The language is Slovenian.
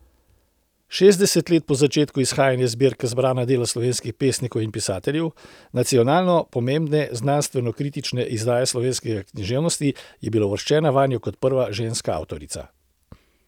Šestdeset let po začetku izhajanja zbirke Zbrana dela slovenskih pesnikov in pisateljev, nacionalno pomembne znanstvenokritične izdaje slovenske književnosti, je bila uvrščena vanjo kot prva ženska avtorica.